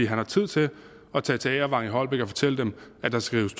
han har tid til at tage til agervang i holbæk og fortælle dem at der skal rives